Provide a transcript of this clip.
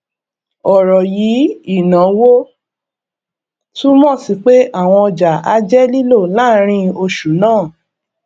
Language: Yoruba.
ọrọ yíì ìnáwó túmọ sí pé àwọn ọjà á jẹ lílò láàárín oṣù náà